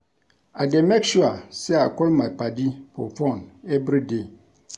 I dey make sure sey I call my paddy for fone everyday.